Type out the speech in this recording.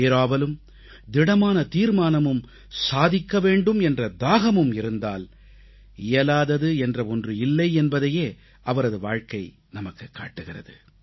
பேராவலும் திடமான தீர்மானமும் சாதிக்க வேண்டும் என்ற தாகமும் இருந்தால் இயலாதது என்ற ஒன்று இல்லை என்பதையே அவரது வாழ்க்கை நமக்குக் காட்டுகிறது